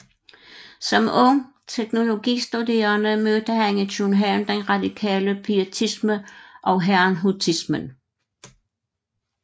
Som ung teologistuderende mødte han i København den radikale pietisme og herrnhutismen